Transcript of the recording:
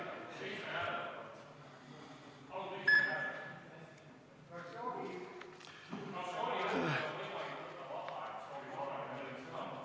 Enne, kui läheme ajagraafiku muutmise ettepaneku juurde, vaatame läbi austatud kolleegide esitatud protseduurilised küsimused.